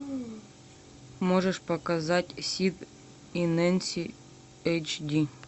можешь показать сид и нэнси эйч ди